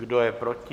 Kdo je proti?